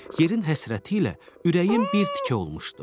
Yerin həsrətiylə ürəyim bir tikə olmuşdu.